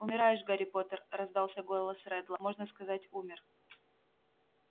умираешь гарри поттер раздался голос реддла можно сказать умер